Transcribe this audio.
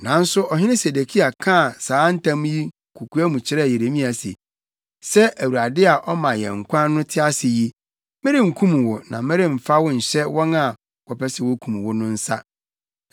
Nanso ɔhene Sedekia kaa saa ntam yi kokoa mu kyerɛɛ Yeremia se, “Sɛ Awurade a ɔma yɛn nkwa no te ase yi, merenkum wo na meremfa wo nhyɛ wɔn a wɔpɛ sɛ wokum wo no nsa.”